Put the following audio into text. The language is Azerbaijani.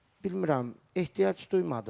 Bilmirəm, ehtiyac duymadım.